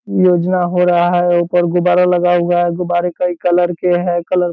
योजना हो रहा है उपर गुबारा लगा हुआ है | गुबारा कई कलर के हैं कलर --